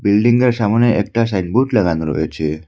বিল্ডিংয়ের সামোনে একটা সাইনবোর্ড লাগানো রয়েছে।